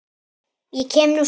Ég kem nú samt!